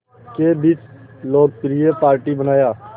के बीच लोकप्रिय पार्टी बनाया